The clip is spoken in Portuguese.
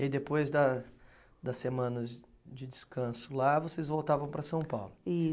E aí depois da das semanas de descanso lá, vocês voltavam para São Paulo.